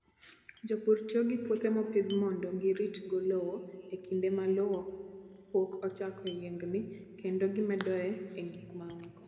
Jopur tiyo gi puothe mopidh mondo giritgo lowo e kinde ma lowo pok ochako yiengni, kendo gimedoe gik mamoko.